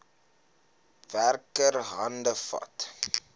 werker hande vat